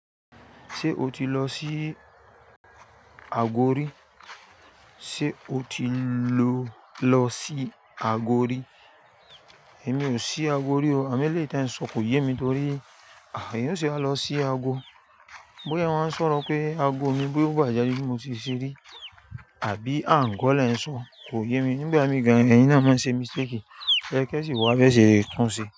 Ṣé o ti lọ sí Agori? Sé o ti ló lọ sí Agori? Èmi ò sí Agori o. Àmẹ́ lè é ta n sọ kò yé mi torí, eyan o se a lọ sí ago. Bóyá wọ́n ń sọ̀rọ̀ pé ago mi boyagbà jálé mi mo ti ṣeré. Àbí àńgo lẹ ń sọ kò yé mi nígbà mí gan. Ẹ̀yin náà máa ń ṣe mistake. Ẹ kẹ́ṣìì wá bẹ́ẹ̀ ṣe létíúnṣe.